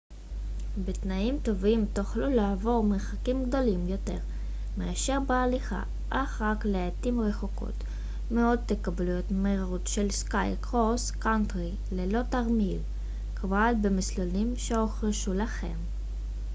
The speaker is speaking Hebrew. בתנאים טובים תוכלו לעבור מרחקים גדולים יותר מאשר בהליכה אך רק לעתים רחוקות מאוד תקבלו את המהירות של סקי קרוס קאנטרי ללא תרמיל כבד במסלולים שהוכשרו לכך